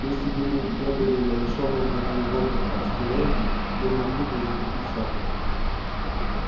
если бы мы не были на лишённом воды и воздуха астероиде мы могли бы затопить шахту